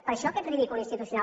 per això aquest ridícul institucional